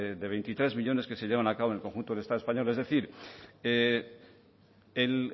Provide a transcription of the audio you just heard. de veintitrés millónes que se llevan a cabo en el conjunto del estado español es decir el